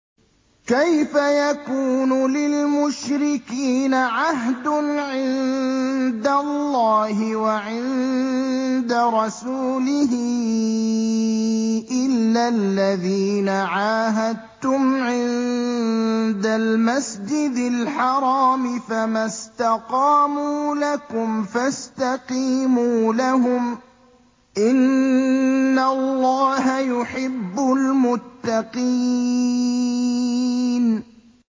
كَيْفَ يَكُونُ لِلْمُشْرِكِينَ عَهْدٌ عِندَ اللَّهِ وَعِندَ رَسُولِهِ إِلَّا الَّذِينَ عَاهَدتُّمْ عِندَ الْمَسْجِدِ الْحَرَامِ ۖ فَمَا اسْتَقَامُوا لَكُمْ فَاسْتَقِيمُوا لَهُمْ ۚ إِنَّ اللَّهَ يُحِبُّ الْمُتَّقِينَ